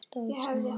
Stór í sniðum.